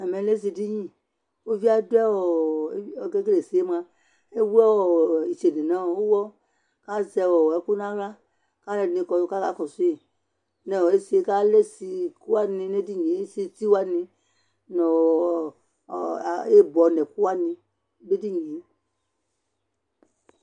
Ɛmɛ lɛ ésiɖinɩ Ƙʊʋɩé ƙéƙélé ésiƴɛ mʊa éwʊ ɩtséɖé ŋʊ ʊwɔ Azɛ ɛƙʊ ŋahla , ƙalu ɛɖɩnɩ ƙɔ ƙaƙɔsɩ ŋési, ƙalɛ ési ƙʊwaŋɩ ŋéɖɩŋié Ési tiwani ŋʊ ɩbɔ ŋɛƙʊwani néɖinɩé